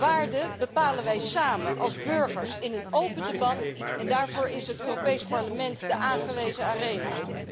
Waarden bepalen wij samen als burgers, in een open debat en daarvoor is het Europees Parlement de aangewezen arena.